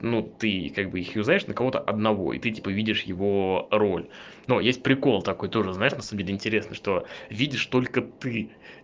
ну ты как бы их юзаешь на кого-то одного и ты типа видишь его роль но есть прикол такой тоже знаешь на самом деле интересно что видишь только ты